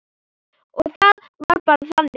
Og það var bara þannig.